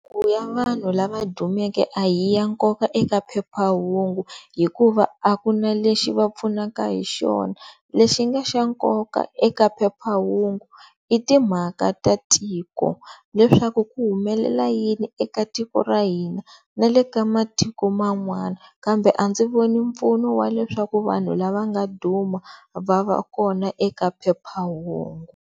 ya vanhu lava dumeke a hi ya nkoka eka phephahungu hikuva a ku na lexi va pfunaka hi xona, lexi nga xa nkoka eka phephahungu i timhaka ta tiko leswaku ku humelela yini eka tiko ra hina na le ka matiko man'wana kambe a ndzi voni mpfuno wa leswaku vanhu lava nga duma va va kona eka phephahungu.